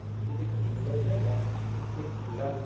એ જે કિલ્લો છે ને, એ કિલ્લા નું,